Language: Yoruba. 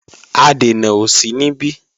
Adènà ò sí níbí